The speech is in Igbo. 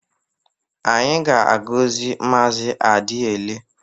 Anyị ga-agọzi Maazị Adiele.